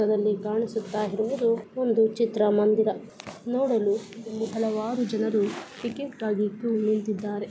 ನಮಗಿಲ್ಲಿ ಕಾಣಿಸ್ತಾ ಇರೋದು ಒಂದು ಚಿತ್ರಮಂದಿರ. ನೋಡಲು ಹಲವಾರು ಜನರಗಳು ಟಿಕೆಟ್ ಗಾಗಿ ಕ್ಯೂ ನಿಂತಿದ್ದಾರೆ.